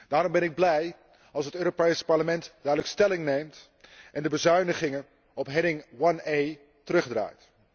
Daarom ben ik blij als het Europees Parlement duidelijk stelling neemt en de bezuinigingen op rubriek 1A terugdraait.